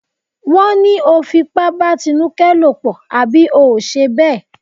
Wọ́n ní o fipá bá Tinúkẹ́ lòpọ̀ àbí ò ṣe bẹ́ẹ̀?